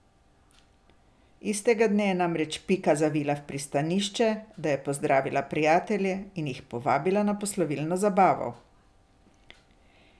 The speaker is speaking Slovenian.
Istega dne je namreč Pika zavila v pristanišče, da je pozdravila prijatelje in jih povabila na poslovilno zabavo.